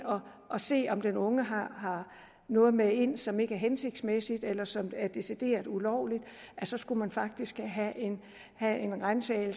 og se om den unge har noget med ind som ikke hensigtsmæssigt eller som er decideret ulovligt så skulle man faktisk have en ransagning